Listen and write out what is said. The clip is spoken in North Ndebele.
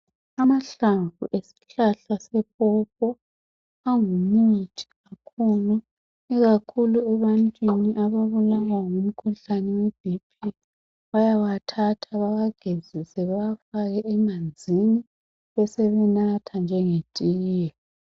Amahlamvu awesihlahla sepopo angumuthi omkhulu ikakhulu ebantwini ababulawa ngumkhuhlane oweBp bayawathatha bewagezise bewafake emanzini besebenathe njengetiye